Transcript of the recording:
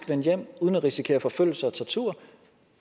vende hjem uden at risikere forfølgelse og tortur og